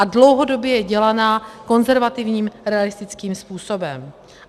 A dlouhodobě je dělaná konzervativním realistickým způsobem.